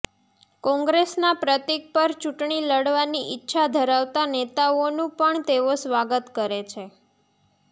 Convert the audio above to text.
કોંગ્રેસના પ્રતિક પર ચૂંટણી લડવાની ઈચ્છા ધરાવતા નેતાઓનું પણ તેઓ સ્વાગત કરે છે